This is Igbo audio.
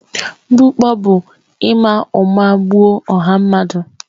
Mgbukpọ bụ ịma ụma gbuo ọha mmadụ.